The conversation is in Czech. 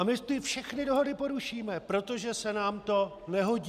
A my ty všechny dohody porušíme, protože se nám to nehodí!